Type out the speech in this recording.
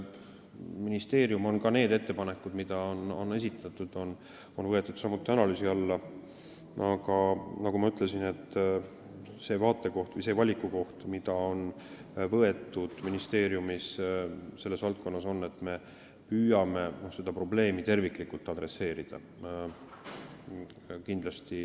Ministeerium on need esitatud ettepanekud võtnud samuti analüüsi alla, aga nagu ma ütlesin, seisukoht, mis ministeeriumis selles valdkonnas on võetud, on see, et me püüame seda probleemi terviklikult käsitleda.